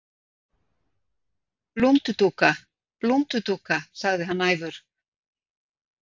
Blúndudúka, blúndudúka, sagði hann æfur.